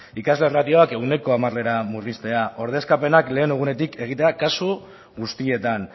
ikasle erratioak ehuneko hamarera murriztea ordezkapenak lehen egunetik egitea kasu guztietan